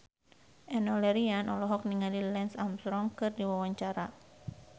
Enno Lerian olohok ningali Lance Armstrong keur diwawancara